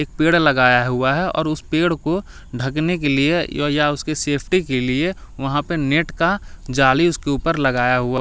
एक पेड़ लगाया हुआ है और उस पेड़ को ढकने के लिए या उसके सेफ्टी के लिए वहां पे नेट का जाली उसके ऊपर लगाया हुआ।